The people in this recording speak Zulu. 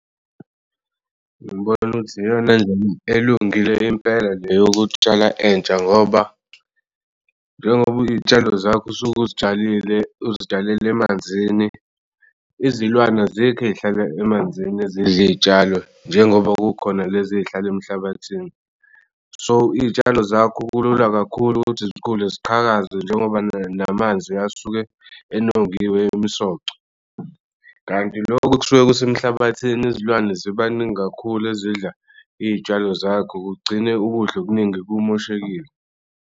Ngibona ukuthi iyona nje elungile impela nje yokutshala entsha ngoba njengoba iy'tshalo zakho usuk'uy'tshalile uzitshalele manzini izilwane azikho ey'hlala emanzini ezidl'iy'tshalo njengoba kukhona lezi ey'hlala emhlabathini. So, iy'tshalo zakho kulula kakhulu ukuthi zikhule ziqhakaze njengoba namanzi asuke enongiwe imisoco. Kanti lokho kusuke kus'emhlabathini izilwane ziba ningi kakhulu ezidla iy'tshalo zakho kugcine ukudla okuningi kumoshekile.